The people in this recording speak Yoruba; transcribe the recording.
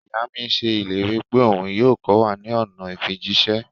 Iya mi ṣe ileri pe oun yoo kọ wa ni ọna ifijiṣẹ.